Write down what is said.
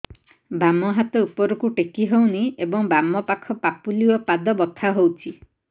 ବାମ ହାତ ଉପରକୁ ଟେକି ହଉନି ଏବଂ ବାମ ପାଖ ପାପୁଲି ଓ ପାଦ ବଥା ହଉଚି